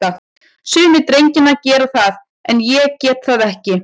Sumir drengjanna gera það, en ég get það ekki.